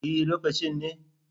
E, lokacin ne?